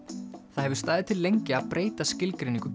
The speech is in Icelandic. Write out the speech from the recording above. það hefur staðið til lengi að breyta skilgreiningu